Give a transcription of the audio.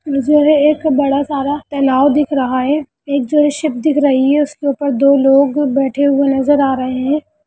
मुझे एक बड़ा सा तालाब दिख रहा है एक जो है शिप दिख रही है उसके ऊपर दो लोग बैठे हुए नज़र आ रहे हैं।